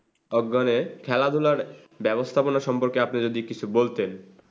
একজনের খেলাধুলার ব্যাবস্থাপনা সম্পর্কে আপনি যদি এই বিষয়ে কিছু বলতেন,